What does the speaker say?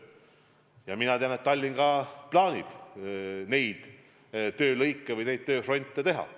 Ja ma tean, et ka Tallinna plaanides need töölõigud on.